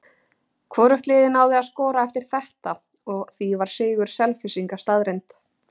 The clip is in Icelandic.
Hvorugt liðið náði að skora eftir þetta og því var sigur Selfyssinga staðreynd.